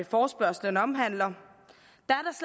forespørgslen omhandler